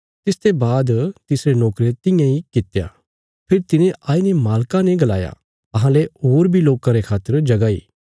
तिसते बाद तिसरे नोकरे तियां इ कित्या फेरी तिने आईने मालका ने गलाया अहांले होर बी लोकां रे खातर जगह इ